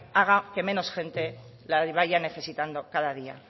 haga que menos gente la vaya necesitando cada día